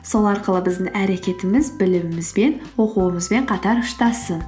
сол арқылы біздің әрекетіміз білімімізбен оқуымызбен қатар ұштассын